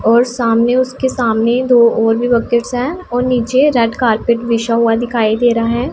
और सामने उसके सामने दो और भी बकेट्स है और नीचे रेड कार्पेट बिछा हुआ दिखाई दे रहा है।